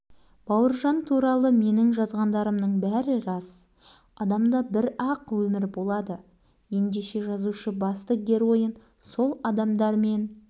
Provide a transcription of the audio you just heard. бұл еркінсуге жол жоқ олай-бұлай тырп ете алмайсың деген сөз өтірікті жазып көр еститініңді естисің ондай